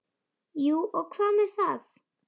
Jú og hvað með það!